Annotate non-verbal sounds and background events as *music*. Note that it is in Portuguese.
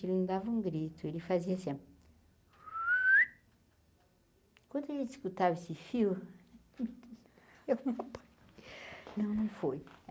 Ele não dava um grito, ele fazia assim... *whistles* Quando ele escutava esse fio... *unintelligible* Não, não foi.